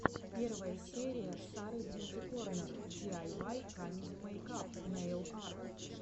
первая серия сары бьюти корнер ди ай вай камеди мейкап нейл арт